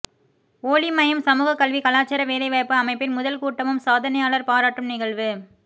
ஓளிமயம் சமூக கல்வி கலாச்சார வேலைவாய்ப்பு அமைப்பின் முதல் கூட்டமும் சாதனையாளர் பாராட்டும் நிகழ்வு